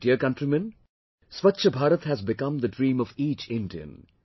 My dear countrymen, Swachha Bharat has become the dream of each Indian